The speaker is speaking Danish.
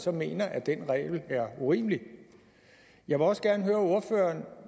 så mener at den regel er urimelig jeg vil også gerne høre ordføreren